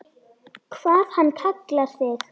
Hvað hann kallar þig?